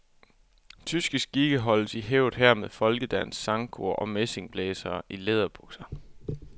Tyske skikke holdes i hævd her med folkedans, sangkor og messingblæsere i læderbukser.